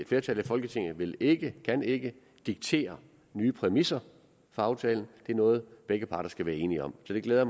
flertal i folketinget vil ikkekan ikke diktere nye præmisser for aftalen det er noget begge parter skal være enige om så det glæder